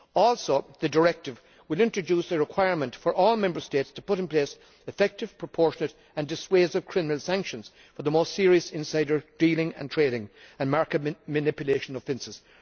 Also, the directive will introduce a requirement for all Member States to put in place effective, proportionate and dissuasive criminal sanctions for the most serious insider dealing and trading and market manipulation offences.